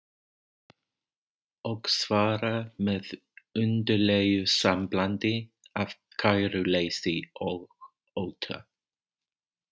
Og svarar með undarlegu samblandi af kæruleysi og ótta